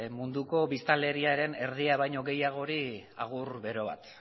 munduko biztanleriaren erdia baina gehiagori agur bero bat